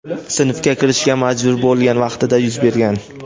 sinfga kirishga majbur bo‘lgan vaqtida yuz bergan.